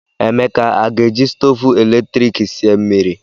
Emeka a ga-eji stovu eletrik sie mmiri?